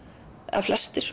eða flestir